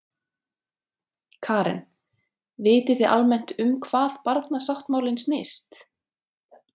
Karen: Vitið þið almennt um hvað barnasáttmálinn snýst?